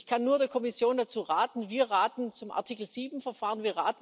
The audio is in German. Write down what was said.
Ich kann nur der Kommission dazu raten Wir raten zum Artikel 7 Verfahren.